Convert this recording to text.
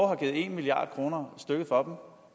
har givet en milliard kroner stykket for